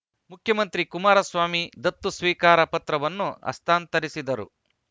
ಮುಖ್ಯಮಂತ್ರಿ ಕುಮಾರಸ್ವಾಮಿ ದತ್ತು ಸ್ವೀಕಾರ ಪತ್ರವನ್ನು ಹಸ್ತಾಂತರಿಸಿದರು